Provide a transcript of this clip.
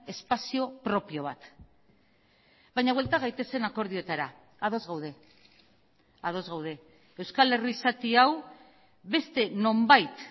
espazio propio bat baina buelta gaitezen akordioetara ados gaude ados gaude euskal herri zati hau beste nonbait